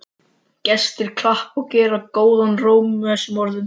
Gestir klappa og gera góðan róm að þessum orðum.